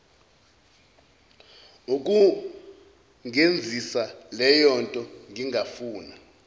ukungenzisa leyonto ngangifuna